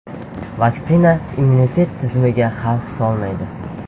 Vaksina immunitet tizimiga xavf solmaydi.